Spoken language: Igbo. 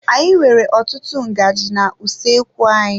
Anyị nwere ọtụtụ ngaji na-usoekwu anyị.